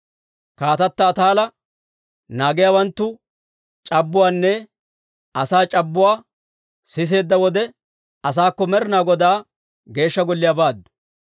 Kaatata Ataala naagiyaawanttu c'abbuwaanne asaa c'abbuwaanne siseedda wode, asaakko Med'ina Godaa Geeshsha Golliyaa baaddu.